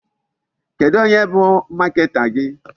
Kedụ onye bụ marketer gị?